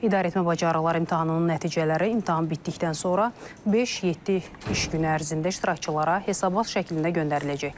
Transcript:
İdarəetmə bacarıqları imtahanının nəticələri imtahan bitdikdən sonra beş-yeddi iş gün ərzində iştirakçılara hesabat şəklində göndəriləcək.